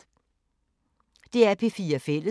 DR P4 Fælles